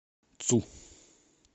цу